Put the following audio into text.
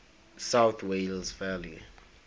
south wales valleys